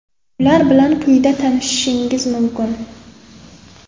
Ular bilan quyida tanishishingiz mumkin.